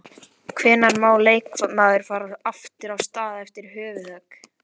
Hvenær má leikmaður fara aftur af stað eftir höfuðhögg?